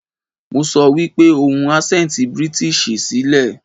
Mo sọ wípé ohun asẹnti British sí lẹ̀.